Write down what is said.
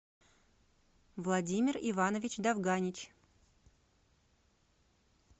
владимир иванович довганич